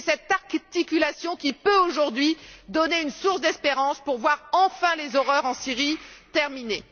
C'est cette articulation qui peut aujourd'hui donner une source d'espérance pour voir enfin les horreurs en Syrie se terminer.